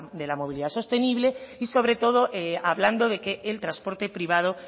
de la movilidad sostenible y sobre todo hablando de que el transporte privado